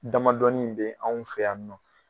Damadɔnin in bɛ anw fɛ yan nɔ